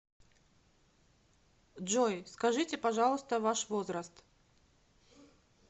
джой скажите пожалуйста ваш возраст